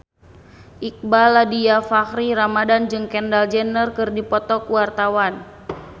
Iqbaal Dhiafakhri Ramadhan jeung Kendall Jenner keur dipoto ku wartawan